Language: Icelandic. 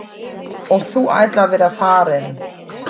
Og þú ætlar að vera farinn.